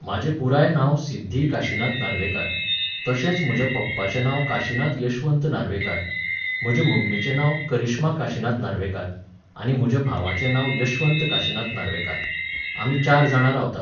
म्हाजें पुराय नांव सिध्दी काशिनाथ नार्वेकार, तशेंच म्हज्या पप्पाचें नांव काशिनाथ यशवंत नार्वेकार, म्हजे मम्मीचें नांव करिश्मा काशिनाथ नार्वेकार, आनी म्हज्या भावाचें नांव यशवंत काशिनाथ नार्वेकार. आमी चार जाणां रावतात